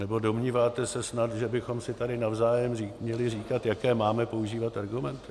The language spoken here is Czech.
Nebo domníváte se snad, že bychom si tady navzájem měli říkat, jaké máme používat argumenty?